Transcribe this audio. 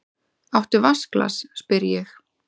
Áttu vatnsglas, spyr ég.